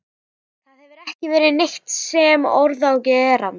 Það hefur ekki verið neitt sem orð er á gerandi.